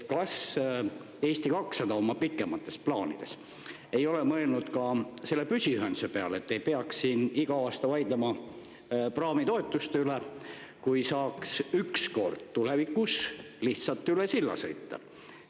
Kas Eesti 200 oma pikemates plaanides ei ole mõelnud ka selle püsiühenduse peale, et ei peaks siin iga aasta vaidlema praamitoetuste üle, kui saaks ükskord tulevikus lihtsalt üle silla sõita?